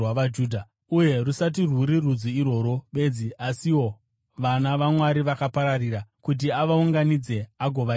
uye rusati rwuri rudzi irworwo bedzi asiwo vana vaMwari vakapararira, kuti avaunganidze agovaita vamwe.